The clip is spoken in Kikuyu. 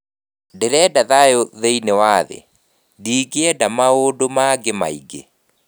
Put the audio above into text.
Ndĩrenda thayũ thĩinĩ wa thĩ, ndingĩenda maũndũ mangĩ maingĩ.